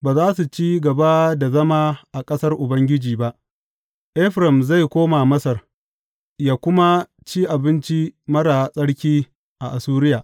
Ba za su ci gaba da zama a ƙasar Ubangiji ba; Efraim zai koma Masar yă kuma ci abinci marar tsarki a Assuriya.